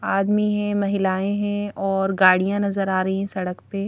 आदमी है महिलाएं हैं और गाड़ियां नजर आ रही हैं सड़क पे--